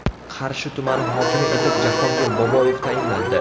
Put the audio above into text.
Qarshi tumani hokimi etib Jahongir Boboyev tayinlandi.